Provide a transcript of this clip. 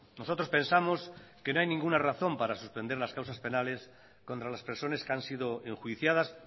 nosotros pensamos que no hay ninguna razón para suspender las causas penales contra las personas que han sido enjuiciadas